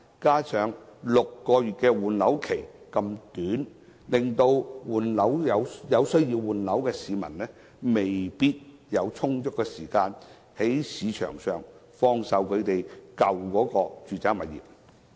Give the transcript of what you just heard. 此外 ，6 個月換樓期實在太短，有需要換樓的市民未必有充足時間，在市場上放售舊有住宅物業。